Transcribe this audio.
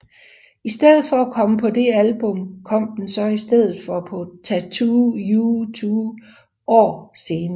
I stedet for at komme på det album kom den så i stedet på Tattoo You to år senere